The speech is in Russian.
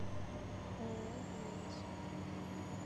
ооо глобус